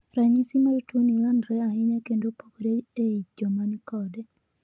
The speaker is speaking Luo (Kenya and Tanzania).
Ranyisis mar tuo ni landore ahinya kendo opogore ei jomankode